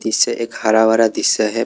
पिछे एक हरा भरा दृश्य है।